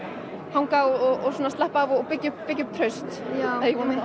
hanga og slappa af og byggja upp byggja upp traust já